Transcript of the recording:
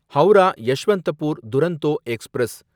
Howrah Yeshwantpur Duronto express